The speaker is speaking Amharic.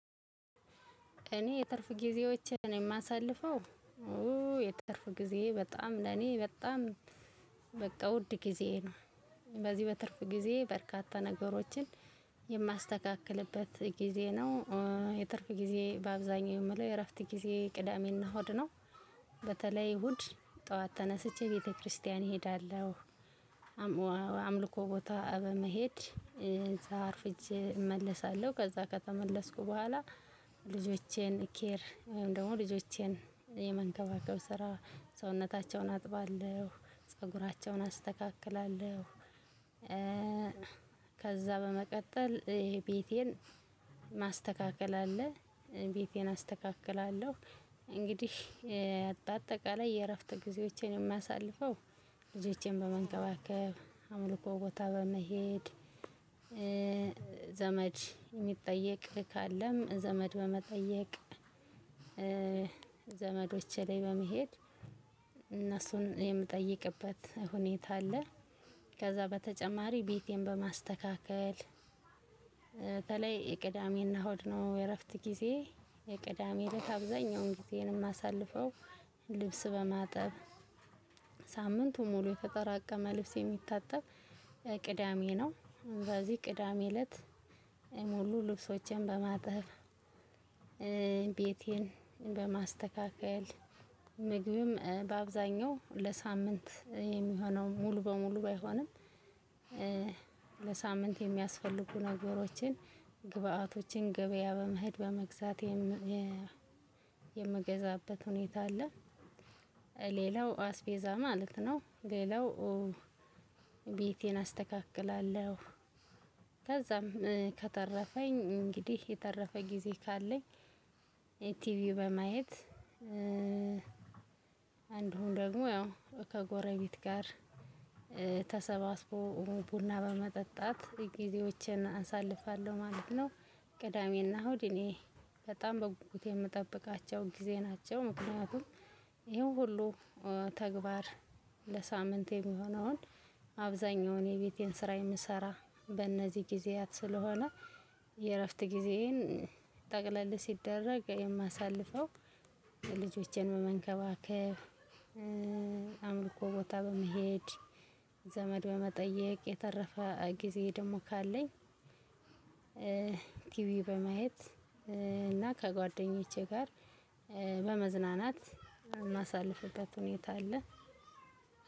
እኔ የትርፍ ጊዜዎችን ነው የማሳልፈው የትርፍ ጊዜ በጣም ለኔ በጣም በቃ ውድ ጊዜዬ ነው። በዚህ በትርፍ ጊዜ በርካታ ነገሮችን የማስተካክልበት ጊዜ ነው። የትርፍ ጊዜ በአብዛኛው የምለው የእረፍት ጊዜ ቅዳሜና ሆድ ነው። በተለይ እሁድ ጠዋት ተነስቼ ቤተክርስቲያን እሄዳለሁ። አምልኮ ቦታ በመሄድ እዛ አርፍጄ እመለሳለሁ ከዛ ከተመለስኩ በኋላ ልጆቼን ኬር ወይም ደግሞ ልጆቼን የመንከባከብ ስራ ሰውነታቸውን አጥባለሁ ፀጉራቸውን አስተካክላለሁ። ከዛ በመቀጠል ይሄ ቤቴን ማስተካከል አለ ቤቴን አስተካክላለሁ። እንግዲህ አጠቃላይ የእረፍት ጊዜዎችን የማሳልፈው ልጆቼን በመንከባከብ አምልኮ ቦታ በመሄድ። ዘመድ የሚጠየቅ ካለም ዘመድ በመጠየቅ ዘመዶች ላይ በመሄድ እነሱን የምጠይቅበት ሁኔታ አለ። ከዛ በተጨማሪ ቤቴን በማስተካከል በተለይ የቅዳሜና እሁድ ነው የእረፍት ጊዜ የቅዳሜ እለት አብዛኛውን ጊዜንም አሳልፈው። ልብስ በማጠብ ሳምንቱ ሙሉ የተጠራቀመ ልብስ የሚታጠብ። ቅዳሜ ነው እንደዚህ ቅዳሜ እለት ሙሉ ልብሶቼን በማጥፍ ቤቴን በማስተካከል ምግብም በአብዛኛው ለሳምንት የሚሆነው ሙሉ በሙሉ ባይሆንም። ለሳምንት የሚያስፈልጉ ነገሮችን ግብዓቶችን ገበያ በመሄድ በመግዛት የሚገዛበት ሁኔታ አለ። ሌላው አስቤዛ ማለት ነው ሌላው ቤቴን አስተካክላለሁ። ከዛም ከተረፈኝ እንግዲህ የተረፈ ጊዜ ካለኝ የቲቪ በማየት እንዲሁም ደግሞ ያው ከጎረቤት ጋር ተሰባስቦ ቡና በመጠጣት ጊዜዎችን አሳልፋለሁ ማለት ነው። ቅዳሜና እሁድ እኔ በጣም በጉጉት የምጠብቃቸውን ጊዜ ናቸው። ምክንያቱም ይሄን ሁሉ ተግባር ለሳምንት የሚሆነውን አብዛኛውን የቤቴን ስራ የምሰራ በእነዚህ ጊዜያት ስለሆነ። የእረፍት ጊዜዬን ጠቅለል ሲደረግ የማሳልፈው ልጆችን በመንከባከብ። አምልኮ ቦታ በመሄድ ዘመድ በመጠየቅ የተረፈ ጊዜ ደግሞ ካለኝ ቲቪ በማየት እና ከጓደኞቼ ጋር በመዝናናት ምናሳልፍበት ሁኔታ አለ።